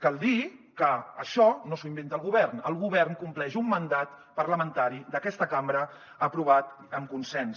cal dir que això no s’ho inventa el govern el govern compleix un mandat parlamentari d’aquesta cambra aprovat amb consens